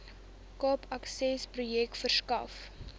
cape accessprojek verskaf